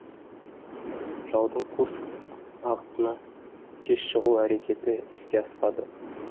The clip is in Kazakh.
жаудың курск бағытына тез шығу әрекеті іске аспады